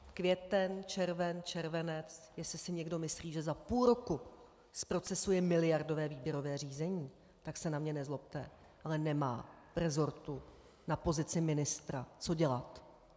Květen, červen, červenec - jestli si někdo myslí, že za půl roku zprocesuje miliardové výběrové řízení, tak se na mě nezlobte, ale nemá v resortu na pozici ministra co dělat.